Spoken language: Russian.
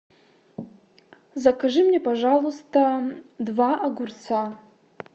закажи мне пожалуйста два огурца